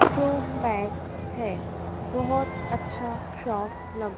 जो पैंक है बहोत अच्छा शॉप लग--